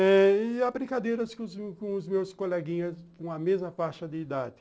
E há brincadeiras com com os meus coleguinhas com a mesma faixa de idade.